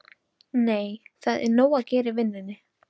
Nei, það er nóg að gera í vinnunni.